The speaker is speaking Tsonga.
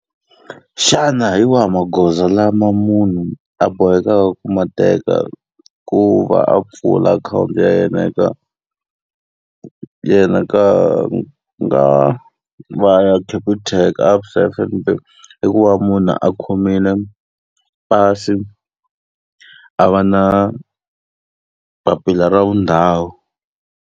Xana hi wahi magoza lama munhu a boheka ku ma teka ku va a pfula akhawunti ya yena eka yena ka ya Capitec, ABSA, F_N_B? i ku va munhu a khomile pasi, a va na papila ra vundhawu.